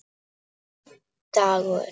Einn dagur!